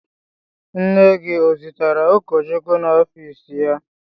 Nne gị o zutere ụkọchukwu n'ọfiisi ya?